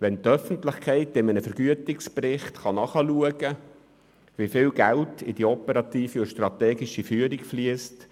Es stärkt das Vertrauen der Öffentlichkeit, wenn sie in ei- nem Vergütungsbericht nachschauen kann, wie viel Geld in die operative und strategische Füh- rung fliesst.